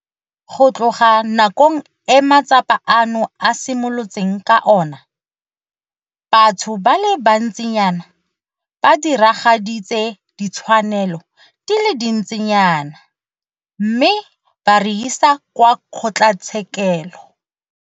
Go tloga nakong e matsapa ano a simolotseng ka ona, batho ba le bantsinyana ba diragaditse ditshwanelo di le dintsinyana mme ba re isa kwa kgotlatshekelo.